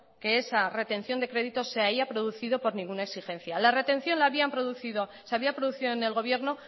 que esa retención de crédito se haya producido por ninguna exigencia la retención se había producido en el gobierno